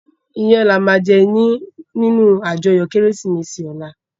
Iyän làmá jè ninú àjòyò Kérésimési òlá